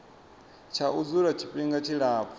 tsha u dzula tshifhinga tshilapfu